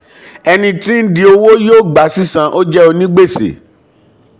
ẹni tí ń di owó yóó gba sísan ó jẹ́ onígbèsè.